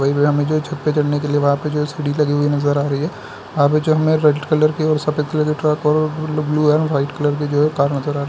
वही भी हमे जो छत पर चढ़ने के लिए वहां पे जो एक सीढ़ी लगी हुई नजर आ रही है आवे जो रैड कलर की और सफेद कलर के ट्रक ओ-और ब्लू एंड वाइट कलर की जो है कार नजर आ रही --